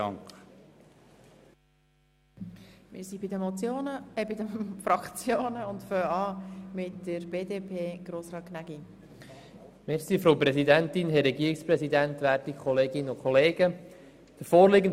Der Vorstoss der FDP stösst in der BDP auf wenig Verständnis und findet erst recht nicht die Zustimmung der Mehrheit.